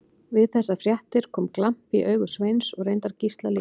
Við þessar fréttir kom glampi í augu Sveins og reyndar Gísla líka.